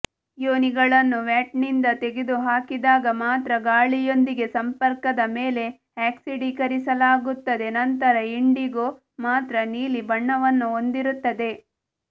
ಯೋನಿಗಳನ್ನು ವ್ಯಾಟ್ನಿಂದ ತೆಗೆದುಹಾಕಿದಾಗ ಮಾತ್ರ ಗಾಳಿಯೊಂದಿಗೆ ಸಂಪರ್ಕದ ಮೇಲೆ ಆಕ್ಸಿಡೀಕರಿಸಲಾಗುತ್ತದೆ ನಂತರ ಇಂಡಿಗೊ ಮಾತ್ರ ನೀಲಿ ಬಣ್ಣವನ್ನು ಹೊಂದಿರುತ್ತದೆ